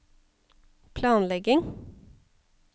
planlegging